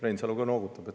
Reinsalu ka noogutab.